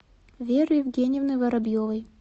веры евгеньевны воробьевой